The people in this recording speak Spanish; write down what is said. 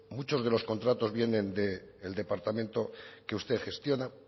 muchos de los contratos vienen del departamento que usted gestiona